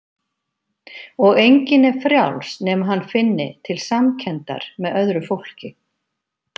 Og enginn er frjáls nema hann finni til samkenndar með öðru fólki.